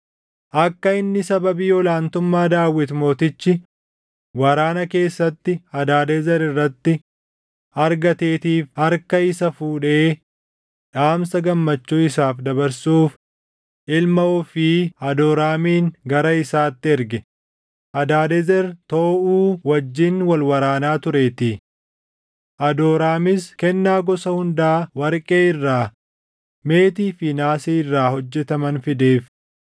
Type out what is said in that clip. akka inni sababii ol aantummaa Daawit Mootichi waraana keessatti Hadaadezer irratti argateetiif harka isa fuudhee dhaamsa gammachuu isaaf dabarsuuf ilma ofii Hadooraamin gara isaatti erge; Hadaadezer Tooʼuu wajjin wal waraanaa tureetii. Adooraamis kennaa gosa hundaa warqee irraa, meetii fi naasii irraa hojjetaman fideef.